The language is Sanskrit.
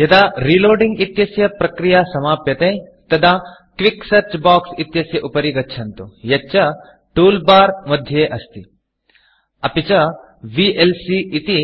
यदा Reloadingरीलोडिंग् इत्यस्य प्रक्रिया समाप्यते तदा क्विक सेऽर्च Boxक्विक् सर्च् बोक्स् इत्यस्य उपरि गच्छन्तु यच्च तूल Barटूल् बार् मध्ये अस्ति अपि च vlcविएल्सी इति